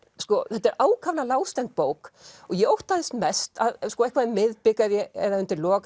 þetta er ákaflega lágstemmd bók og ég óttaðist mest að eitthvað um miðbik eða undir lok